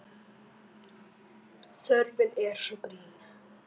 Þörfin er svo brýn.